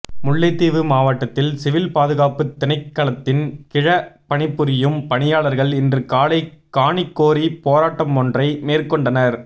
முல்லைத்தீவு மாவட்டத்தில் சிவில் பாதுகாப்பு திணைக்களத்தின் கிழ பணிபுரியும் பணியாளர்கள் இன்றுகாலை காணிகோரி போராட்டமொன்றை மேற்கொண்டனர்